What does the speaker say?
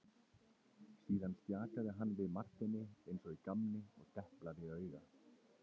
Síðan stjakaði hann við Marteini eins og í gamni og deplaði auga.